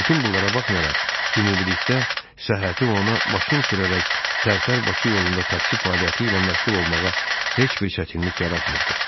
Bütün bunlara baxmayaraq ümumilikdə səhhəti ona maşın sürərək Tərtər-Bakı yolunda taksi fəaliyyəti ilə məşğul olmağa heç bir çətinlik yaratmırdı.